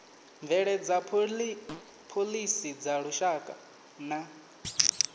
bveledza phoḽisi dza lushaka na